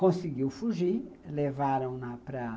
Conseguiu fugir, levaram-na para